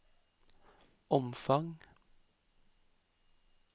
omfang